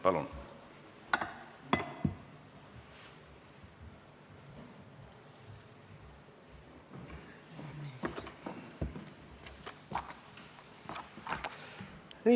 Palun!